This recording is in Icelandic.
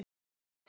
Og mig!